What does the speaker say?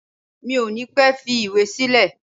Mi ò ní pẹ́ fi ìwé sílẹ̀